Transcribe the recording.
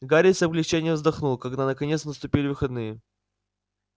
гарри с облегчением вздохнул когда наконец наступили выходные